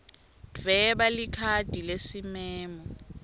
dvweba likhadi lesimemo